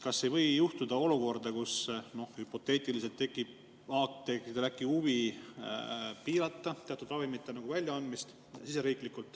Kas aga ei või juhtuda, et hüpoteetiliselt tekib apteekidel äkki huvi piirata riigis teatud ravimite väljaandmist?